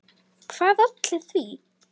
Hvað olli því?